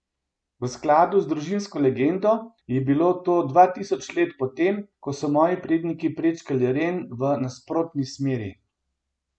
V skladu z družinsko legendo je bilo to dva tisoč let po tem, ko so moji predniki prečkali Ren v nasprotni smeri.